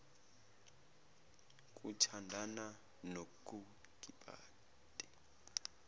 kuthandana nokukipita nomfazi